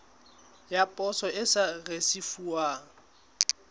ya poso e sa risefuwang